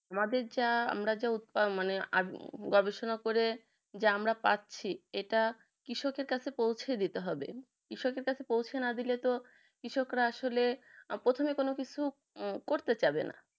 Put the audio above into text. আমাদের যা আমরা যা উদপামানে আদি গবেষণা করে যে আমরা পাচ্ছি এটা কৃষকদের কাছে পৌঁছে দিতে হবে বিষয়টি দেখ পৌঁছে না দিলে তো কৃষকরা আসলে প্রথমে কোনো কিছু উম করতে চাবে না